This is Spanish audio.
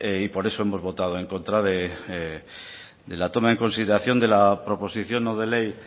por eso hemos votado en contra de la toma en consideración de la proposición no de ley